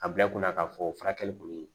A bila i kunna k'a fɔ o furakɛli kɔni